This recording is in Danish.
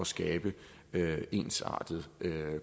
skabe ensartede